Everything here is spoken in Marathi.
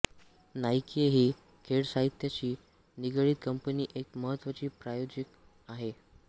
नाइके ही खेळसाहित्याशी निगडीत कंपनी एक महत्त्वाची प्रायोजक आहे